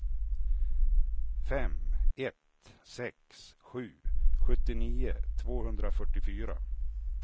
fem ett sex sju sjuttionio tvåhundrafyrtiofyra